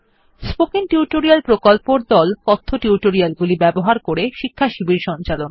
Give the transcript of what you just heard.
spoken tutorial প্রকল্পর দল কথ্য টিউটোরিয়াল গুলি ব্যবহার করে শিক্ষাশিবির সঞ্চালন করে